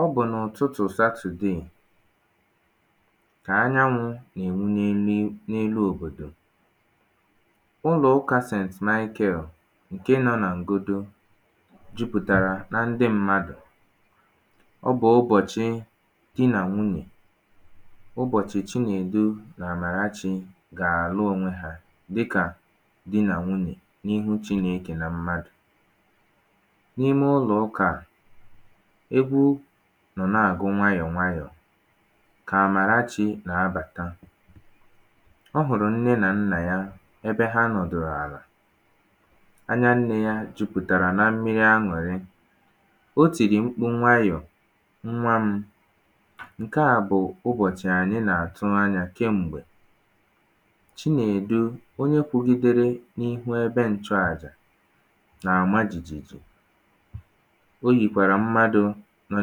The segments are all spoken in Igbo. Ọ bụ̀ n’ụ̀tụtụ̀̀ Satụ̀dèè Kà anyanwụ̄ nà-ènwu n’elu i n’elu òbòdò Ụlọ̀ụkā St Michael ṅ̀ke nọ̄ nà Ṅ̀godo jupùtàrà na ndị mmadụ̀ ọ bụ̀ ụbọ̀chị di nà nwunyè ụbọ̀chị̀ Chinedu nà Àmàrachī gà-àlụ onwe hā dịkà di nà nwunyè n’ihu Chinēkè nà mmadụ̀. N’ime ụlọ̀ụkà à egwu nọ̀ na-àgụ nwayọ̀ nwayọ̀. Kà̀ Àmàrachī nà-abàta ọ hụ̀rụ̀ nne nà nnà ya ebe ha nọ̀dụ̀rụ̀ àlà. Anya nnē yā jupùtàrà na mmiri aṅụrị O tìrì mkpu nwayọ̀, “Ṅnwa m̄ ṅ̀ke à bụ̀ ụbọ̀chị̀ ànyị nà-àtụ anyā kem̀gbè”. Chinèdu, onye kwụ̄gīdērē n’ihu ebe nchụàjà, nà-àma jìjìjì. O yìkwàrà mmadụ̄ nọ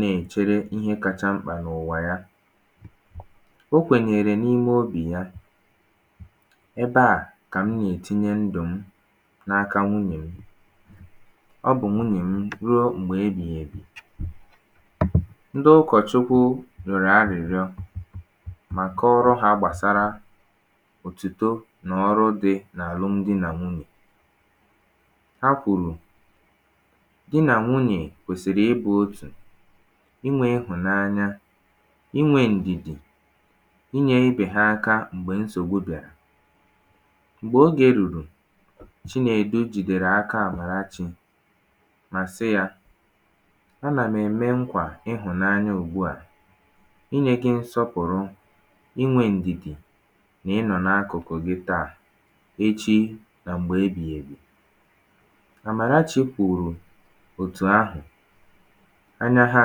na-èchere ihe kāchā mkpà n’ụ̀wà ya. O kwènyèèrè n’ime obì ya “Ebe à kà m nà-ètinye ndụ̀ m n’aka nwunye m, Ọ bụ̀ nwunyè m ruo m̀gb̀ ebìghìèbì”. Ndị ụkọ̀chukwu rị̀ọ̀rọ̀ arị̀rịọ mà kọọrọ hā gbàsara òtìto nà ọrụ dī n’àlụm di nà nwunyè. Ha kwùrù, “di nà nwunyè kwèsìrì ịbụ̄ otù, inwē ịhụ̀nanya, inwē ǹdìdì, inyē ibè ha aka m̀gbè nsògbu bị̀arà”. m̀gbè ogē rùrù Chinèdu jìdèrè aka Àmàrachī mà sị yā “Anà m ème ṅkwà ịhụ̀nanya ùgbu à inyē gị̄ nsọpụ̀rụ inwē ǹdìdì nà ịnọ̀ n’akụ̀kụ̀ gị taà echi nà m̀gbè ebìghìèbì”. Àmàrachī̄ kwùrù òtù ahụ̀. Anya ha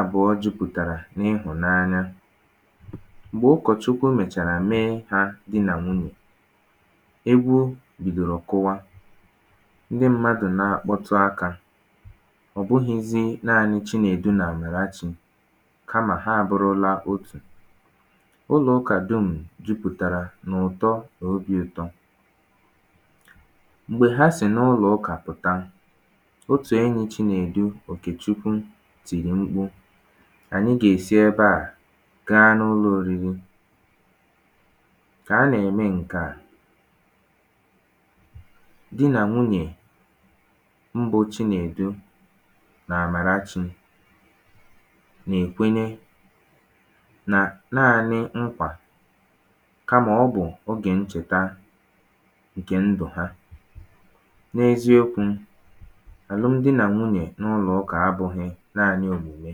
àbụ̀ọ jupùtàrà n’ịhụ̀nanya. M̀gbè ụkọ̀chukwu mèchàrà mee hā dī nà nwunyè, egwu bìdòrò kụwa. Ndị mmadụ̀ na-akpọtụ akā. Ọ̀ bụhị̄zī naanị Chinèdu nà Àmàrachī, Kamà ha abụrụla otù. Ụlọ̀ụkà dum̀ jupùtàrà n’ụ̀tọ nà obī ụ̄tọ̄. M̀gbè ha sì n’ụlọ̀ụkà pụ̀ta, Otù enyī Chinèdu, Òkèchukwu tìrì mkpu, “ànyị gɑ-èsi ebe à gaa n’ụlọ oriri”. Kà a nà-ème ṅ̀ke à, Di nà nwunyè, mbụ̄ Chinèdu nà Àmàrachī nà-èkwenye nà naānị̄ ṅkwà kamà ọ bụ̀ ogè nchèta ṅ̀kè ndù ha. N’eziokwū, Àlụm di nà nwunè n’ụlọ̀ụkà abụ̄hị̄ naānị̄ ònyìnye,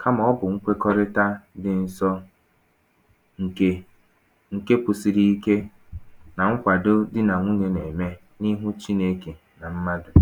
kamà ọ bụ̀ ṅkwekọrịta dị nsọ ṅ̀kè ṅ̀ke kwụsịrị ike, nà ṅkwàdo di nà nwnye nà-ème n’ihu Chinēkè nà mmadụ̀